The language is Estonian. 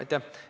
Aitäh!